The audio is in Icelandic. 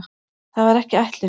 Það var ekki ætlunin.